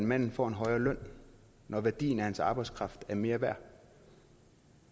manden får en højere løn når værdien af hans arbejdskraft er mere værd